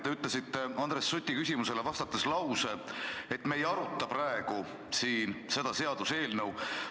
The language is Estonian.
Te ütlesite Andres Suti küsimusele vastates lause, et me ei aruta praegu siin seda seaduseelnõu.